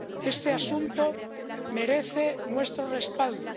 Este asunto merece nuestro respaldo.